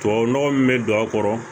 Tubabu nɔgɔ min bɛ don a kɔrɔ